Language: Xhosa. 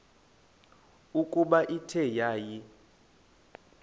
ukuba ithe yaya